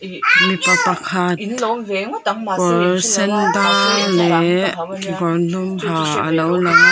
mipa pakhat kawr sen dang leh kekawr dum ha alo lang a.